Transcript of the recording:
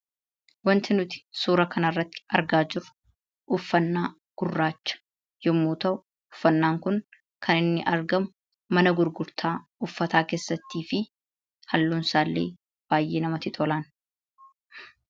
Wanti nuti suura kana irratti argaa jirru uffannaa gurraacha yommuu ta'u, uffannaan kun kan inni argamu mana gurgurtaa uffataa keessattidha. Halluun isaa illee baay'ee nama hawwata.